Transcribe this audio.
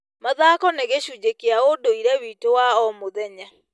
Mathako nĩ gĩcunjĩ kĩa ũndũire witũ wa o mũthenya.